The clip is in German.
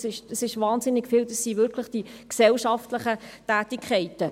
Das ist unglaublich viel, und es sind nur die gesellschaftlichen Tätigkeiten.